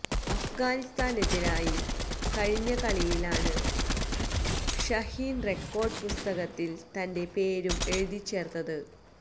അഫ്ഗാനിസ്താനെതിരായ കഴിഞ്ഞ കളിയിലാണ് ഷഹീന് റെക്കോര്ഡ് പുസ്തകത്തില് തന്റെ പേരും എഴുതിച്ചേര്ത്തത്